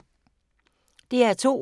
DR2